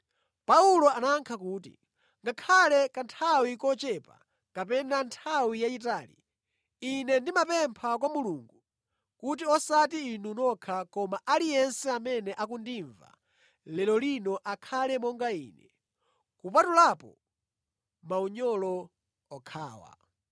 Paulo anayankha kuti, “Ngakhale kanthawi kochepa kapena nthawi yayitali, ine ndikupempha kwa Mulungu kuti osati inu nokha koma aliyense amene akundimva lero lino akhale monga ine, kupatulapo maunyolo okhawa.”